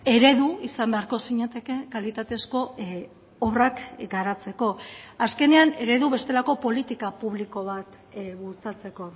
eredu izan beharko zinateke kalitatezko obrak garatzeko azkenean eredu bestelako politika publiko bat bultzatzeko